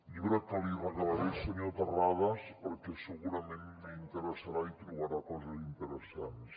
llibre que li regalaré senyor terrades perquè segurament li interessarà i hi trobarà coses interessants